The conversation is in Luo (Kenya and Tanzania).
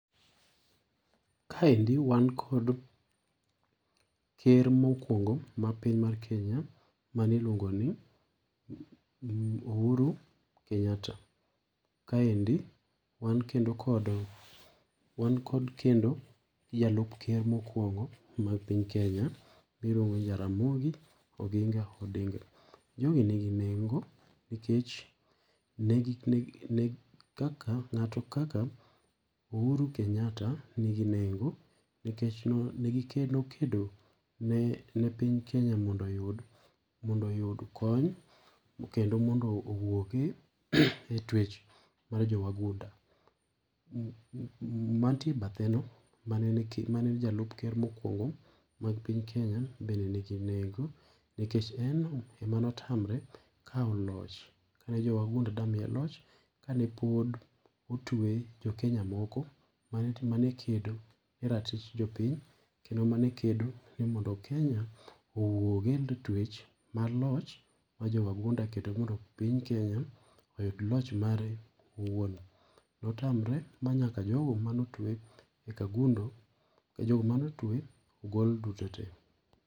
Kaendi wan kod ker mokuongo ma piny mar kenya mane iluongo ni Uhuru Kenyatta, kaendi wan kendo kod jalup ker mokuongo mar piny kenya miluongo ni Jaramogi Oginga Odinga. Jogi ni gi nengo nikech kaka ng'ato kaka Uhuru Kenyatta ni gi nengo nikech nokedo ne piny kenya mondo oyud kony kendo mondo owuog e twech mar jowagunda, mantie e bathe no, mane en jalup ker mokuongo mar piny kenya bende ni gi nengo nikech en emane otamre kawo loch kane jowagunda dwa miye loch kane pod otue jo Kenya moko mane kedo ne ratich jopiny kendo mane kedo mondo Kenya owuog e twech mar loch mar jowagunda kendo mondo piny kenya oyud loch mare owuon. Notamre ma nyaka jogo mane otwe e Kagundo ,nyaka jogo mane otwe ogol duto tee.